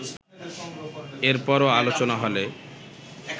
এর পরও আলোচনা হলে